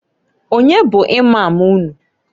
Onye bụ Imam unu?